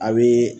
A bɛ